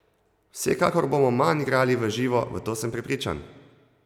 Vsekakor bomo manj igrali v živo, v to sem prepričan!